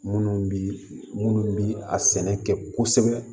Munnu bi munnu bi a sɛnɛ kɛ kosɛbɛ